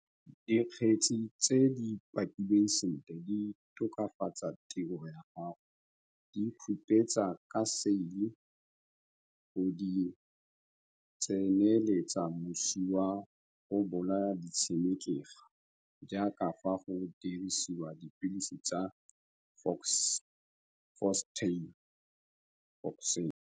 Dikgetsi tse di pakilweng sentle di tokafatsa tiro ya go di khupetsa ka seile go di tseneletsa mosi wa go bolaya ditshenekegi jaaka fa go dirisiwa dipilisi tsa Phostoxin.